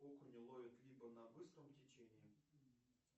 окуня ловят либо на быстром течении